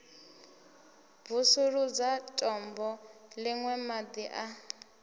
bvusuludza tombo ḽine maḓi a